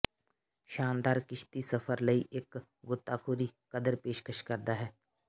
ਸ਼ਾਨਦਾਰ ਕਿਸ਼ਤੀ ਸਫ਼ਰ ਲਈ ਇੱਕ ਗੋਤਾਖੋਰੀ ਕਦਰ ਪੇਸ਼ਕਸ਼ ਕਰਦਾ ਹੈ